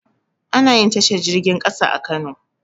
Anayin tashar jirgin ƙasa a kano